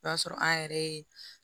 O y'a sɔrɔ an yɛrɛ ye